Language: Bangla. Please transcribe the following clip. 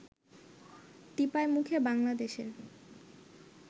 টিপাইমুখে বাংলাদেশের